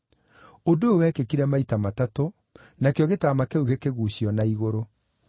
Ũndũ ũyũ wekĩkire maita matatũ, nakĩo gĩtama kĩu gĩkĩguucio na igũrũ.